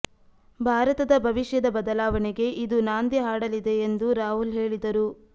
ಭಾರತದ ಭವಿಷ್ಯದ ಬದಲಾವಣೆಗೆ ಇದು ನಾಂದಿ ಹಾಡಲಿದೆ ಎಂದು ರಾಹುಲ್ ಹೇಳಿದರು